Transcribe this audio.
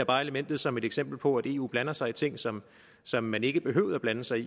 bare elementet som et eksempel på at eu blander sig i ting som som man ikke behøvede at blande sig i